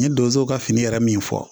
N ye donso ka fini yɛrɛ min fɔ